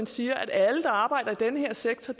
siger at alle der arbejder i den her sektor